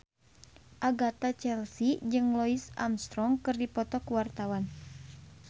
Agatha Chelsea jeung Louis Armstrong keur dipoto ku wartawan